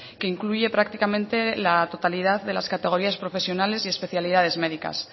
que incluye prácticamente la totalidad de las categorías profesionales y especialidades médicas